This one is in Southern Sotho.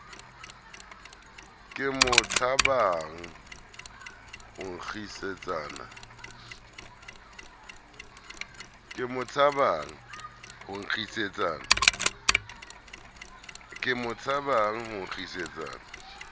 ke mo tshabang ho nkgisetsana